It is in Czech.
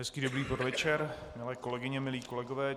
Hezký dobrý podvečer, milé kolegyně, milí kolegové.